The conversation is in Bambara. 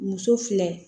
Muso filɛ